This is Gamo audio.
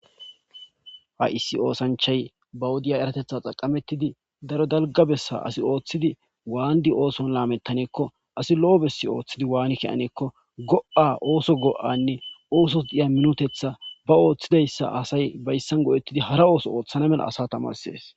Ha issi oosanchay ba wodiya eratetha xaqamettidi daro dalga bessa asi ooththidi waandi ooson laamettaneekko asi lo'o bessi ooththidi waani kianeekko go'a ooso go"anne ooso diya minotetha ba ooththidayssa asay bayssan go'ettidi hara ooso ooththana mela asa tamarsies.